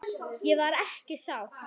Ég var ekki sátt.